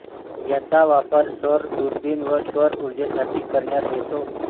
याचा वापर सौर दुर्बिण व सौर उर्जेसाठी करण्यात येतो